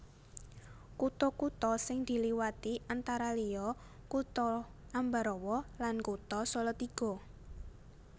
Kutha kutha sing diliwati antara liya Kutha Ambarawa lan Kutha Salatiga